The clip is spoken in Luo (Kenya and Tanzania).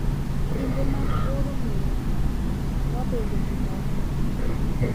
Kinde mag oro miyo wabedo gi mor madier